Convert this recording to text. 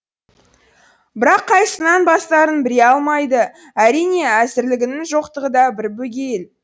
бірақ қайсысынан бастарын біле алмайды әрине әзірлігінің жоқтығы да бір бөгейіл